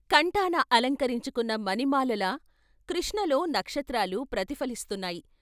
కంఠాన అలంకరించుకున్న మణిమాలలా కృష్ణలో నక్షత్రాలు ప్రతిఫలిస్తున్నాయి.